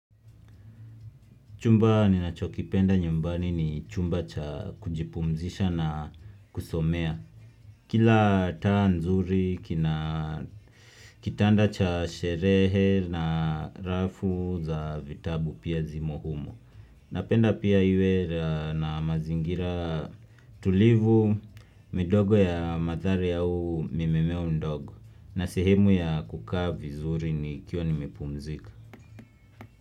Chumba ninachokipenda nyumbani ni chumba cha kujipumzisha na kusomea. Kila taa nzuri, kitanda cha sherehe na rafu za vitabu pia zimohumo. Napenda pia iwe na mazingira tulivu, midogo ya mazari au mimemeo ndogo. Na sehemu ya kukavi zuri nikiwanimepumzika.